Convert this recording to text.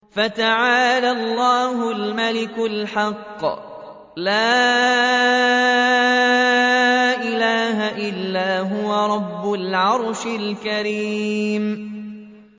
فَتَعَالَى اللَّهُ الْمَلِكُ الْحَقُّ ۖ لَا إِلَٰهَ إِلَّا هُوَ رَبُّ الْعَرْشِ الْكَرِيمِ